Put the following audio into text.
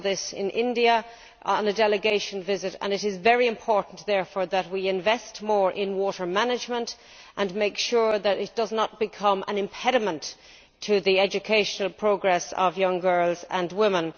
I saw this in India on a delegation visit and it is very important that we invest more in water management and make sure that it does not become an impediment to the educational progress of young girls and women.